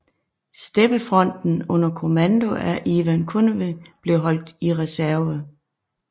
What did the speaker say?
Steppefronten under kommando af Ivan Konev blev holdt i reserve